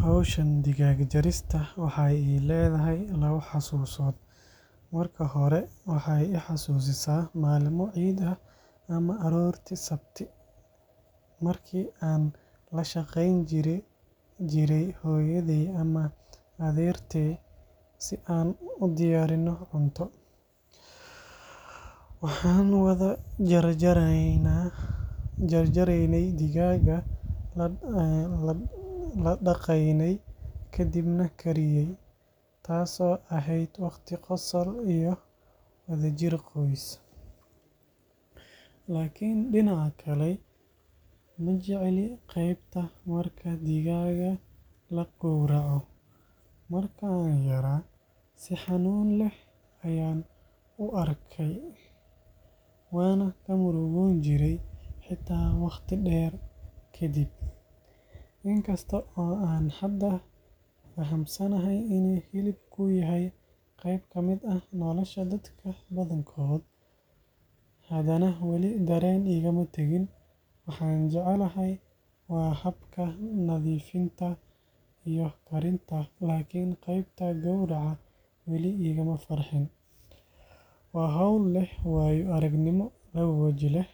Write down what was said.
Hawshan digaag jarista waxay ii leedahay labo xusuusood. Marka hore, waxay i xasuusisaa maalmo ciid ah ama aroortii sabti, markii aan la shaqeyn jiray hooyaday ama adeertay si aan u diyaarino cunto. Waxaan wada jarjaraynay digaagga, la dhaqaynay, ka dibna kariyay – taasoo ahayd waqti qosol iyo wadajir qoys. Laakiin dhinaca kale, ma jecli qaybta marka digaagga la gowraco. Markii aan yaraa, si xanuun leh ayaan u arkayay. Waan ka murugoon jiray, xitaa waqti dheer kadib. In kasta oo aan hadda fahamsanahay in hilibku yahay qayb ka mid ah nolosha dadka badankood, haddana wali dareen igama tagin. Waxa aan jeclahay waa habka nadiifinta iyo karinta, laakiin qaybta gowraca weli igama farxin. Waa hawl leh waayo-aragnimo labo waji leh